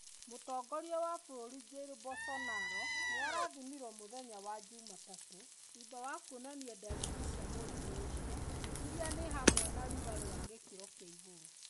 Mũtongoria wa bũrũri Jair Bolsonaro niarathimirũo mũthenya wa Jumatatũ. Thutha wa kuonania ndariri cia murimũ ucio, iria nĩ hamwe na rugarĩ wa gĩkĩro kĩa igũrũ.